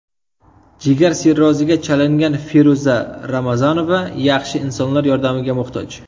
Jigar sirroziga chalingan Feruza Ramazonova yaxshi insonlar yordamiga muhtoj.